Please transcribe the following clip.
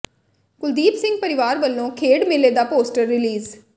ਕੁਲਦੀਪ ਸਿੰਘ ਪਰਿਵਾਰ ਵੱਲੋਂ ਖੇਡ ਮੇਲੇ ਦਾ ਪੋਸਟਰ ਰਿਲੀਜ਼